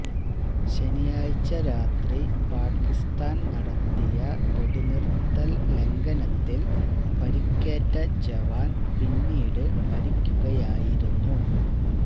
ശനിയാഴ്ച രാത്രി പാക്കിസ്ഥാന് നടത്തിയ വെടിനിര്ത്തല് ലംഘനത്തില് പരിക്കേറ്റ ജവാന് പിന്നീട് മരിക്കുകയായിരുന്നു